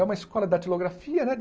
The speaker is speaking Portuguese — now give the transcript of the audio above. É uma escola de datilografia, né?